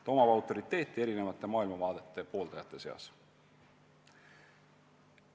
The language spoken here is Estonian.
Tal on autoriteeti erinevate maailmavaadete pooldajate seas.